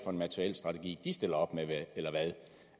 en materielstrategi de stiller op med